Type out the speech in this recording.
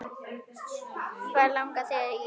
Hvað langar þig í!